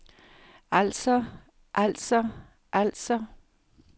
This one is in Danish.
altså altså altså